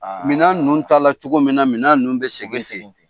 Minan ninnu taa la cogo min na, minan ninnu bɛ segin te.